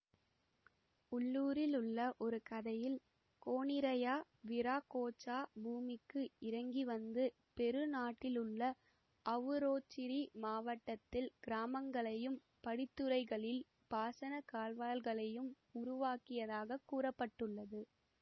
உள்ளூரில் உள்ள ஒரு கதையில் கோனிரயா விராகோச்சா பூமிக்கு இறங்கிவந்து பெரு நாட்டிலுள்ள அவுரோச்சிரி மாவட்டத்தில் கிராமங்களையும் படித்துறைகளில் பாசனக் கால்வாய்களையும் உருவாக்கியதாக கூற பட்டுள்ளது